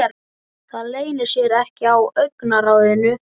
Það leynir sér ekki á augnaráðinu.